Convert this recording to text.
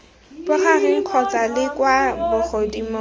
bogareng kgotsa la kwa bogodimong